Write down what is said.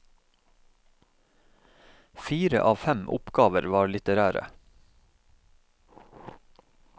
Fire av fem oppgaver var litterære.